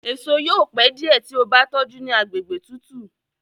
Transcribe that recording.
èso yóò pẹ diẹ tí o bá tójú ní àgbègbè tútù.